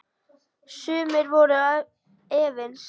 Sumir voru efins.